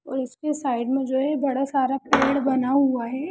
और इसके साइड में जो है बड़ा सारा पेड़ बना हुआ है ।